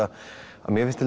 að mér finnst